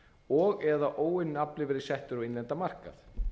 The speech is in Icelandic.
og eða óunninn afli verið settur á íslenskan markað